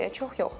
Belə çox yox.